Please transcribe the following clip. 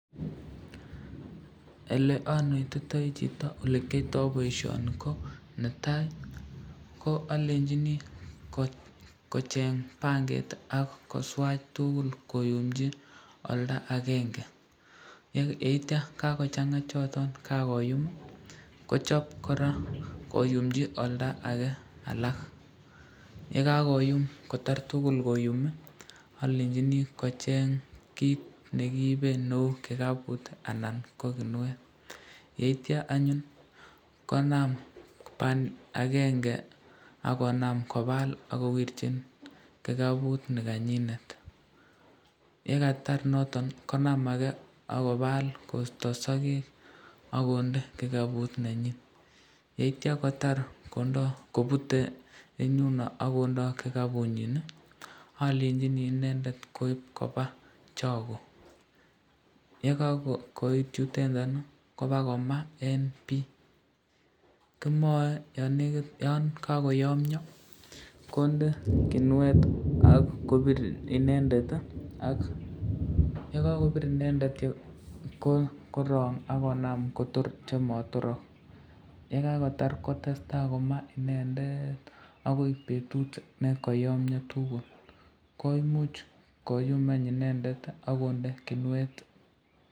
Oleanetite chito olekyoto boisyoni ko netai alenchini kocheng panget ak koswach tukul koumchi olda akenge, yeitya kakochanga choton kakoyum kochab koraa koyumchi olda ake alak, yekakoyam kotar tukul koyumi alenchini kocheng kit nekiiben neu kikaput anan ko kiniet, yeitya anyun konam ban akenge akonam kobal akowirchin kikaput nikanyindet, yekatar noton konam ake akobal kosto sakek akonde kikaput nenyin, yeitya kotar kobure eng yuno akoindo kikapunyin, alenchini inendet koib koba chako, yekakoit yuteta kobakoma eng bi, kimae yon kakoyamnyo kondeet kiniet ak kobit inendet ak yekakobir inendet korang akonam Kotor chematirak, yekatar kotesta koma inendet akoi betut nekayomnyo tukul, koimuch koyumi inendet akonde kiniet.